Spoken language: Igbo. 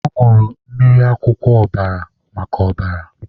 Ọ nụrụ mmiri akwụkwọ ọbara maka ọbara.